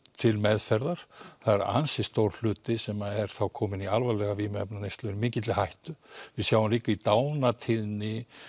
til meðferðar það er ansi stór hluti sem er þá kominn í alvarlega vímuefnaneyslu er mikilli hættu við sjáum líka í dánartíðni